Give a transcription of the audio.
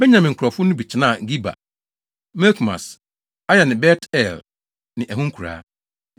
Benyamin nkurɔfo no bi tenaa Geba, Mikmas, Aya ne Bet-El ne ɛho nkuraa.